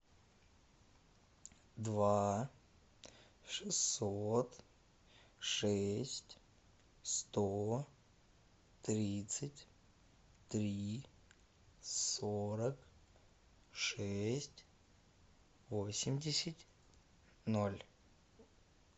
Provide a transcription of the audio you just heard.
два шестьсот шесть сто тридцать три сорок шесть восемьдесят ноль